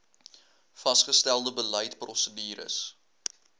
vasgestelde beleid prosedures